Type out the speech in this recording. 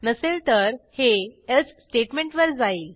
नसेल तर हे एल्से स्टेटमेंटवर जाईल